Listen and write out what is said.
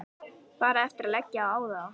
Bara eftir að leggja á þá.